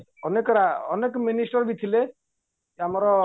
ଅନେକ ଅନେକ ministerବି ଥିଲେ ଆମର